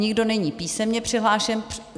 Nikdo není písemně přihlášen.